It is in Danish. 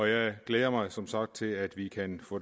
jeg glæder mig som sagt til at vi kan få